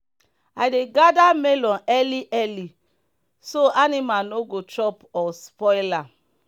i dey gather melon early early so animal no go chop or spoil am.